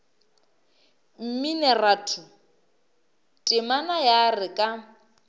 mminoratho temana ya re ka